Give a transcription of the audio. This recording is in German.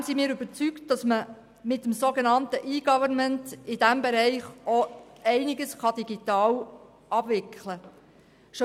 Ausserdem sind wir überzeugt, dass man mit dem sogenannten EGovernment in diesem Bereich einiges digital abwickeln kann.